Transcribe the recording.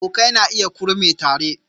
Abokai na iya kurme tare